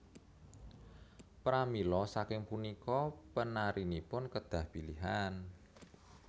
Pramila saking punika penarinipun kedah pilihan